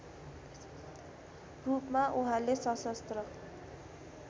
रूपमा उहाँले सशस्त्र